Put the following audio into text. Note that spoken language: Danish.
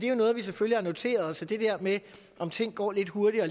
jo noget vi selvfølgelig har noteret os og det der med om tingene går lidt hurtigere